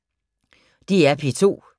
DR P2